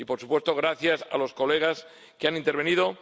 Y por supuesto, gracias a los colegas que han intervenido.